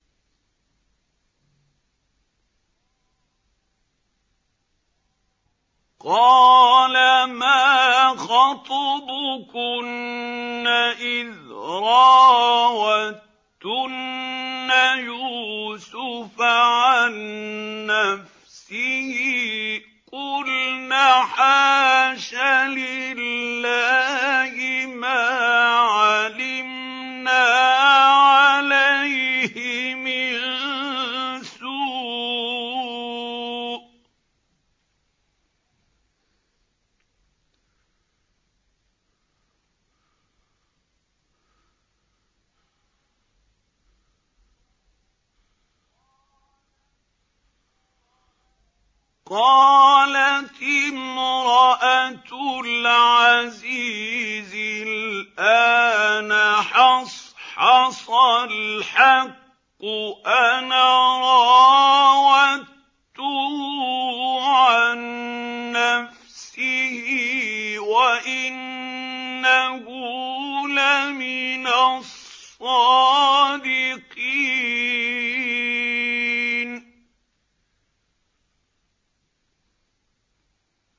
قَالَ مَا خَطْبُكُنَّ إِذْ رَاوَدتُّنَّ يُوسُفَ عَن نَّفْسِهِ ۚ قُلْنَ حَاشَ لِلَّهِ مَا عَلِمْنَا عَلَيْهِ مِن سُوءٍ ۚ قَالَتِ امْرَأَتُ الْعَزِيزِ الْآنَ حَصْحَصَ الْحَقُّ أَنَا رَاوَدتُّهُ عَن نَّفْسِهِ وَإِنَّهُ لَمِنَ الصَّادِقِينَ